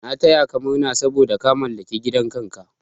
Na taya ka murna saboda ka mallaki gidan kanka.